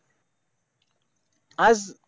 आज